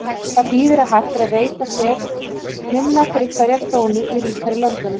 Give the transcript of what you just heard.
Það þýðir að hægt er að veita sér minna fyrir hverja krónu í ríkari löndunum.